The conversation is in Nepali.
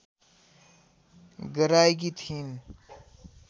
गराएकी थिइन्